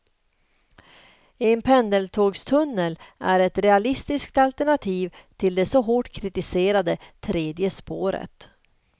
En pendeltågstunnel är ett realistiskt alternativ till det så hårt kritiserade tredje spåret.